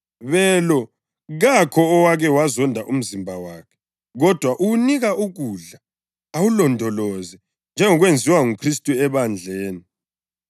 Belo, kakho owake wazonda umzimba wakhe kodwa uwunika ukudla awulondoloze njengokwenziwa nguKhristu ebandleni,